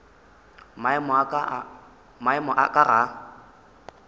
maemo a ka ga a